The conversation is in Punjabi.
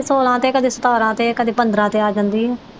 ਛੋਲਾਂ ਤੇ ਕਦੇ ਸਤਾਰਾਂ ਤੇ ਕਦੇ ਪੰਦਰਾਂ ਤੇ ਆ ਜਾਂਦੀ ਹੈ।